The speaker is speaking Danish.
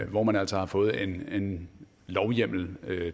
hvor man altså har fået en lovhjemmel